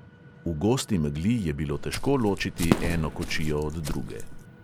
V gosti megli je bilo težko ločiti eno kočijo od druge.